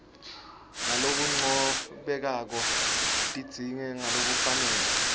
ngalokuncomekako tindze ngalokufanele